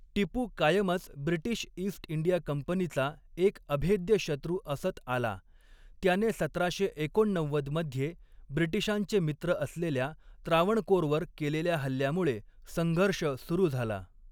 टिपू कायमच British east India कंपनीचा एक अभेद्य शत्रू असत आला, त्याने सतराशे एकोणनव्वद मध्ये ब्रिटीशांचे मित्र असलेल्या त्रावणकोरवर केलेल्या हल्ल्यामुळे संघर्ष सुरू झाला.